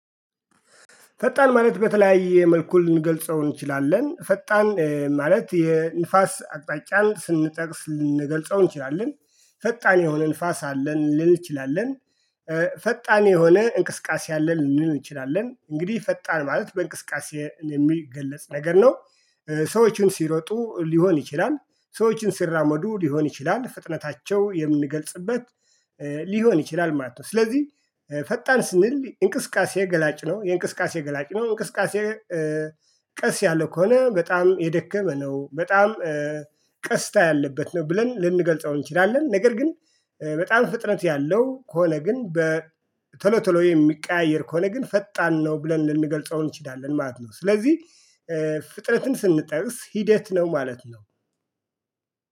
ፈጣን ማለት በተለያየ መልኩ ልንገልጸው እንችላለን ፈጣን ማለት የንፋስ አቅጣጫን ስንጠቅስ ልንገልጸው እንችላለን ፈጣን የሆነ ንፋስ አለ ልንል እንችላለን። ፈጣን የሆነ እንቅስቃሴ አለ ልንል እንችላለን እንግዲህ ፈጣን ማለት በእንቅስቃሴ የሚገለጽ ነገር ነው። ሰዎችን ሲሮጡ ሊሆን ይችላል ሰዎችን ሲራመዱ ሊሆን ይችላል ፍጥነታቸው የምንገልጽበት ሊሆን ይችላል ማለት ነው። ስለዚህ ፈጣን ስንል እንቅስቃሴ ገላጭ ነው የእንቅስቃሴ ገላጭ ነው እንቅስቃሴ ቀስ ያለ ከሆነ በጣም የደከመ ነው። በጣም ቀስታ ያለበት ነው ብለን ልንገልጸው እንችላለን ነገር። ግን በጣም ፍጥነት ያለው ከሆነ ግን በቶሎ ቶሎ የሚቀያየር ከሆነ ግን ፈጣን ነው ብለን ልንገልጸው እንችላለን ማለት ነው። ስለዚህ ፍጥነትን ስንጠቅስ ሂደት ነው ማለት ነው